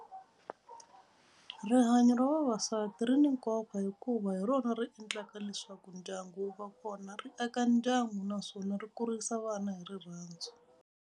Rihanyo ra vavasati ri ni nkoka hikuva hi rona ri endlaka leswaku ndyangu wu va kona ri aka ndyangu naswona ri kurisa vana hi rirhandzu.